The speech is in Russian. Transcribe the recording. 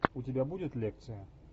у тебя будет лекция